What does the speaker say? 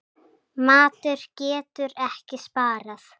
Matur getur ekki sparað.